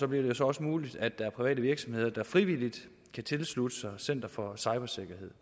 bliver det så også muligt at der er private virksomheder der frivilligt kan tilslutte sig center for cybersikkerhed